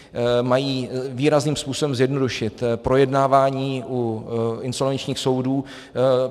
Mají výrazným způsobem zjednodušit projednávání u insolvenčních soudů.